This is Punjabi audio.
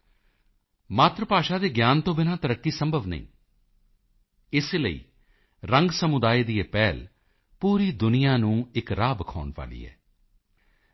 ਅਰਥਾਤ ਮਾਤਰ ਭਾਸ਼ਾ ਦੇ ਗਿਆਨ ਤੋਂ ਬਿਨਾ ਤਰੱਕੀ ਸੰਭਵ ਨਹੀਂ ਹੈ ਇਸ ਲਈ ਰੰਗ ਸਮੁਦਾਇ ਦੀ ਇਹ ਪਹਿਲ ਪੂਰੀ ਦੁਨੀਆ ਨੂੰ ਇਕ ਰਾਹ ਵਿਖਾਉਣ ਵਾਲੀ ਹੈ